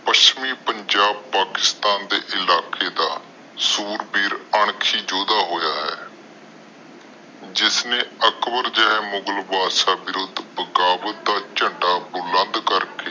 ਪੱਛਮੀ ਪੰਜਾਬ ਪਾਕਿਸ਼ਟਾਂ ਦੇ ਇਲਾਕੇ ਦੇ ਸੂਰਬੀਰ ਅਣਖੀ ਯੋਧਾ ਹੋਇਆ ਆ ਜਿਸਨੇ ਅਕਬਰ ਜਹੇ ਮੁਗ਼ਲ ਬੰਦਸ਼ ਬਿਰੁੱਧ ਬਗਾਵਤ ਦਾ ਝੰਡਾ ਬੁਲੰਦ ਕਰਕੇ